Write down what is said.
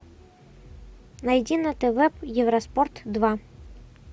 найди на тв евроспорт два